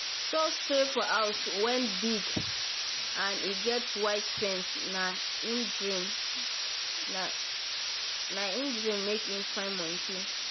so stay for house wen big and e get white fence na he dream na make he find mkney.